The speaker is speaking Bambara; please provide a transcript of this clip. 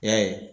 I y'a ye